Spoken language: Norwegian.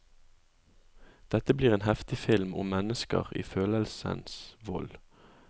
Dette blir en heftig film om mennesker i følelsenes vold.